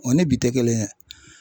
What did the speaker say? O ni bi tɛ kelen ye.